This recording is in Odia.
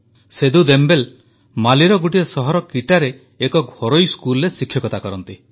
ସେଦୁ ଦେମବେଲେ ମାଲିର ଗୋଟିଏ ସହର କିଟାରେ ଏକ ଘରୋଇ ସ୍କୁଲରେ ଶିକ୍ଷକ ଅଛନ୍ତି